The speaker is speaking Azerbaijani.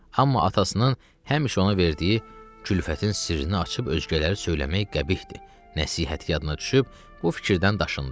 Amma atasının həmişə ona verdiyi külfətin sirrini açıb özgələrə söyləmək qəbihdir, nəsihəti yadına düşüb bu fikirdən daşındı.